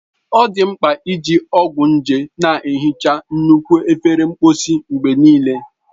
Ọ dị mkpa iji ọgwụ nje na-ehicha nnukwu efere mposi mgbe niile.